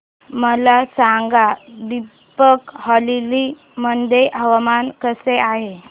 मला सांगा दिबांग व्हॅली मध्ये हवामान कसे आहे